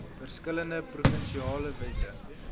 verskillende provinsiale wette